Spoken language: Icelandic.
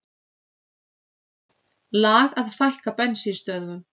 Lag að fækka bensínstöðvum